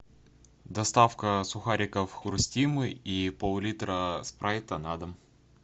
доставка сухариков хрустим и пол литра спрайта на дом